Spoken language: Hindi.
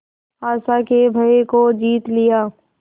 आशा के भय को जीत लिया